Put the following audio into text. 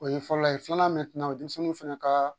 O ye fɔlɔ ye filanan denmisɛnninw fana ka